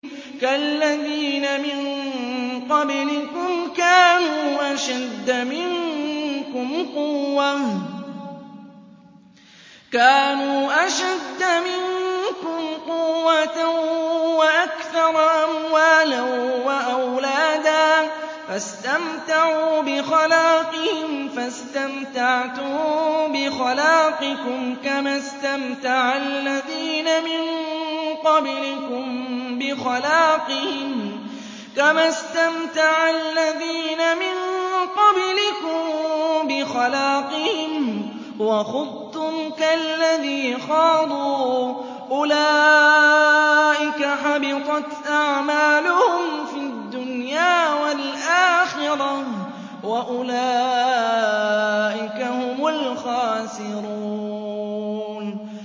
كَالَّذِينَ مِن قَبْلِكُمْ كَانُوا أَشَدَّ مِنكُمْ قُوَّةً وَأَكْثَرَ أَمْوَالًا وَأَوْلَادًا فَاسْتَمْتَعُوا بِخَلَاقِهِمْ فَاسْتَمْتَعْتُم بِخَلَاقِكُمْ كَمَا اسْتَمْتَعَ الَّذِينَ مِن قَبْلِكُم بِخَلَاقِهِمْ وَخُضْتُمْ كَالَّذِي خَاضُوا ۚ أُولَٰئِكَ حَبِطَتْ أَعْمَالُهُمْ فِي الدُّنْيَا وَالْآخِرَةِ ۖ وَأُولَٰئِكَ هُمُ الْخَاسِرُونَ